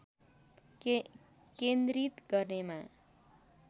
केन्द्रित गर्नेमा